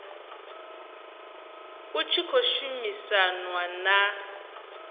hut shi khou shumisanwa na